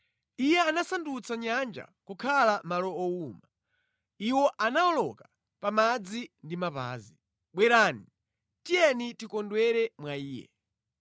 Iye anasandutsa nyanja kukhala malo owuma, iwo anawoloka pa madzi ndi mapazi. Bwerani, tiyeni tikondwere mwa Iye.